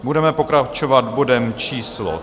Budeme pokračovat bodem číslo